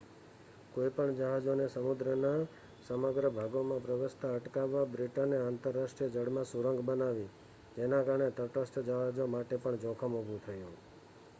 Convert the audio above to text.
કોઈપણ જહાજોને સમુદ્રના સમગ્ર ભાગોમાં પ્રવેશતા અટકાવવા બ્રિટને આંતરરાષ્ટ્રીય જળમાં સુરંગ બનાવી જેના કારણે તટસ્થ જહાજો માટે પણ જોખમ ઊભું થયું